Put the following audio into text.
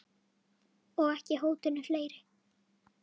Og ekki hótinu fleiri.